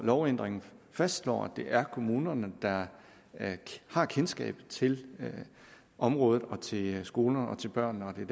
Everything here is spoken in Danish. lovændringen fastslår at det er kommunerne der har kendskabet til området og til skolerne og til børnene og det